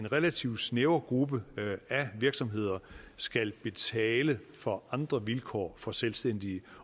en relativt snæver gruppe af virksomheder skal betale for andre vilkår for selvstændige